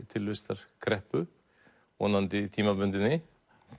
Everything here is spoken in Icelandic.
tilvistarkreppu vonandi tímabundinni